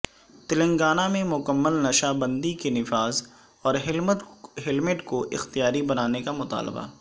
تلنگانہ میں مکمل نشہ بندی کے نفاذ اور ہیلمٹ کو اختیاری بنانے کا مطالبہ